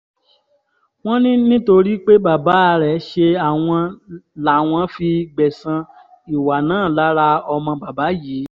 wọ́n ní nítorí pé bàbá rẹ̀ ṣe àwọn làwọn fi gbẹ̀san ìwà náà lára ọmọ bàbá yìí